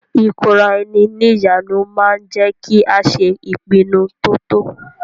Ìkóraẹni ní ìjánu ma ń jẹ́ kí a ṣe ìpinnu to tọ́.